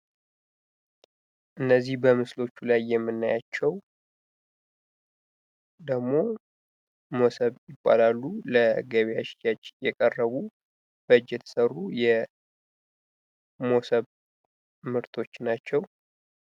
እነዚህ በምስሎቹ ላይ የምናያቸው ደግሞ መሶብ ይባላሉ። ለገበያ ሽያጭ የቀረቡ በእጅ የተሰሩ የመሶብ ምርቶች ናቸው።